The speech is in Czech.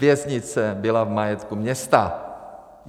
Věznice byla v majetku města.